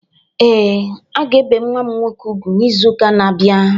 Ee,a ga ebe nwa m nwọke ùgwú n'ịzu ụka na-abia.